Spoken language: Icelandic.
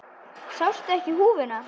Sástu ekki húfuna?